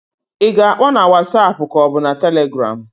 I ga-akpọ na wasap k'ọ bụ na Telegram?